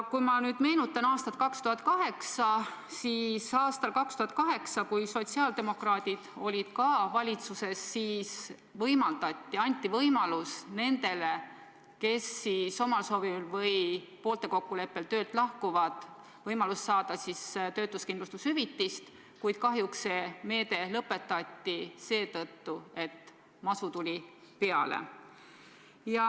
Kui ma nüüd meenutan aastat 2008, kui sotsiaaldemokraadid olid ka valitsuses, siis toona anti nendele, kes omal soovil või poolte kokkuleppel töölt lahkuvad, võimalus saada töötuskindlustushüvitist, kuid kahjuks see meede lõpetati, sest masu tuli peale.